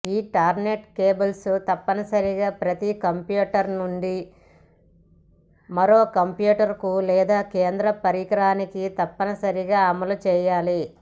Ethernet cables తప్పనిసరిగా ప్రతి computer నుండి మరో కంప్యూటర్కు లేదా కేంద్ర పరికరానికి తప్పనిసరిగా అమలు చేయాలి